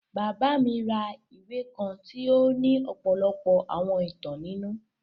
Baba mi ra ìwe kan tì o ni ọ́pọlọpọ́ àwọn ìtan ninu.